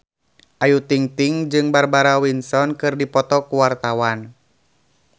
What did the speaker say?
Ayu Ting-ting jeung Barbara Windsor keur dipoto ku wartawan